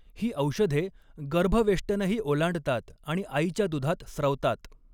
ही औषधे गर्भवेष्टनही ओलांडतात आणि आईच्या दुधात स्रवतात.